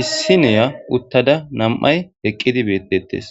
issi neya uttada nam'ay eqqidi beettettes.